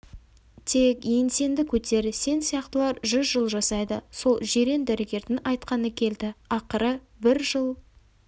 тек еңсеңді көтер сен сияқтылар жүз жыл жасайды сол жирен дәрігердің айтқаны келді ақыры бір жыл